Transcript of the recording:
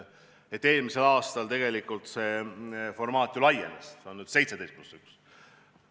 Eelmisel aastal see formaat ju laienes, see on nüüd 17 + 1.